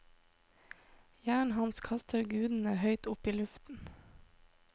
Hjernen hans kaster gudene høyt opp i luften.